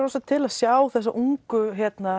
til að sjá þessa ungu